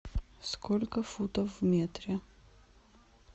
сколько футов в метре